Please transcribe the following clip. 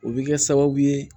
O bɛ kɛ sababu ye